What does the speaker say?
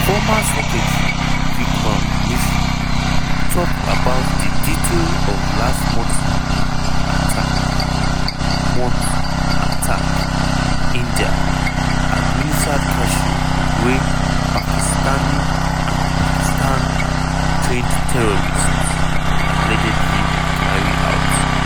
foreign secretary vikram misri tok about di detail of last month attack month attack in indian-administered kashmir wey "pakistani and pakistan-trained terrorists" allegedly carry out.